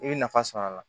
I bɛ nafa sɔrɔ a la